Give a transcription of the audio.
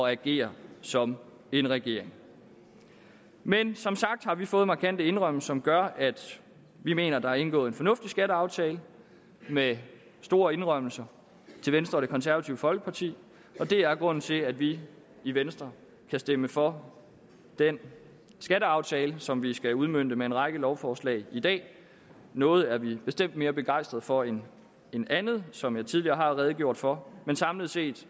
at agere som en regering men som sagt har vi fået markante indrømmelser som gør at vi mener at der er indgået en fornuftig skatteaftale med store indrømmelser til venstre og det konservative folkeparti og det er grunden til at vi i venstre kan stemme for den skatteaftale som vi skal udmønte med en række lovforslag i dag noget er vi bestemt mere begejstret for end andet som jeg tidligere har redegjort for men samlet set